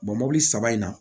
mobili saba in na